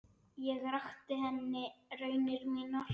Ég rakti henni raunir mínar.